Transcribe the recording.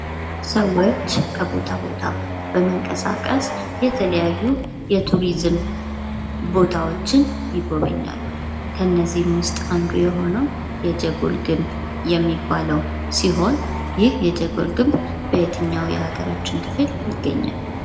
ሰዎች ከቦታ ቦታ በመንቀሳቀስ የተለያዩ የቱሪዝም ቦታዎችን ይጎበኛሉ። ከነዚህም ውስጥ አንዱ የሆነው የጀጎል ግንብ የሚባለው ሲሆን ይህ የጀጎል ግንብ በየትኛው የሀገራችን ክፍል ይገኛል?